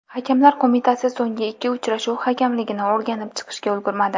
Hakamlar Qo‘mitasi so‘nggi ikki uchrashuv hakamligini o‘rganib chiqishga ulgurmadi.